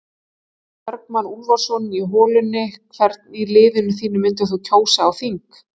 Örn Bergmann Úlfarsson í holunni Hvern í liðinu þínu myndir þú kjósa á þing?